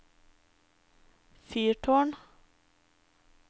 fyrtårn